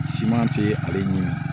Siman tɛ ale ɲini